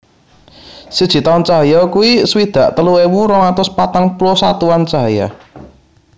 Siji taun cahya iku swidak telu ewu rong atus patang puluh satuan cahaya